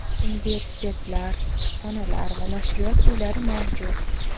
Universitetlar, kutubxonalar va nashriyot uylari mavjud.